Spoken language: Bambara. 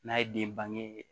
N'a ye den bange